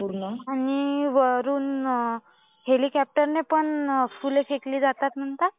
आणि वरून हेलिकॉप्टरने पण फुलं फेकली जातात म्हणतात.